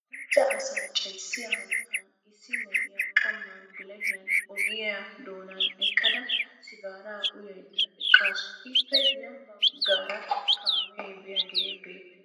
Macca asaa cayissiya hanotan issi na'iyaa qamman bilahiyan ogiya doonan eqqada sigaaraa uyayidda eqqaasu. Ippe ya baggaara kaamee biyaagee beettes.